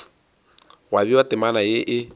gwa bewa temana ye e